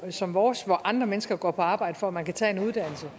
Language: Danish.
som vores hvor andre mennesker går på arbejde for at man kan tage en uddannelse